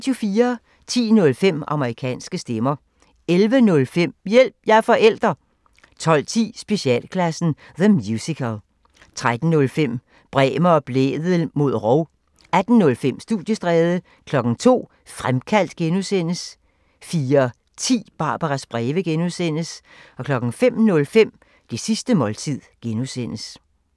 10:05: Amerikanske stemmer 11:05: Hjælp – jeg er forælder! 12:10: Specialklassen – The Musical 13:05: Bremer og Blædel mod rov 18:05: Studiestræde 02:00: Fremkaldt (G) 04:10: Barbaras breve (G) 05:05: Det sidste måltid (G)